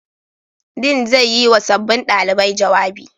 Dean zai yi wa sabbin ɗalibai jawabi.